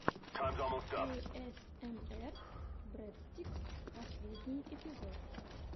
эйэсэмэр брэдстикс последний эпизод